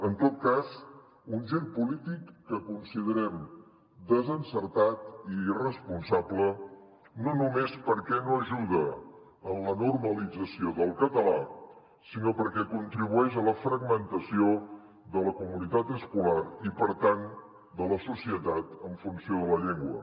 en tot cas un gir polític que considerem desencertat i irresponsable no només perquè no ajuda en la normalització del català sinó perquè contribueix a la fragmentació de la comunitat escolar i per tant de la societat en funció de la llengua